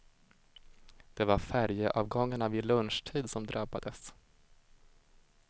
Det var färjeavgångarna vid lunchtid som drabbades.